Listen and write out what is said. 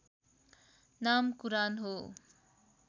नाम कुरान हो